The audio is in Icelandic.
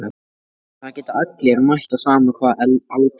Helga: En það geta allir mætt á sama hvaða aldri?